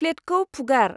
फ्लेटखौ फुगार।